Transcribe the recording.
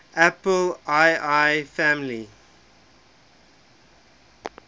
apple ii family